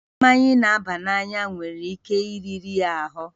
Mmanya na-aba n'anya nwere ike iriri ahụ